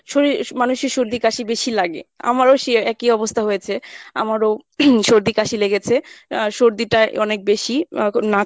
শরীর মানুষের সর্দি কাশি বেশি লাগে আমারো সে একই অবস্থা হয়েছে। আমারো সর্দি কাশি লেগেছে। আহ সর্দিটাই অনেক বেশি আহ নাক